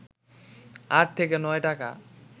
আট থেকে নয় টাকা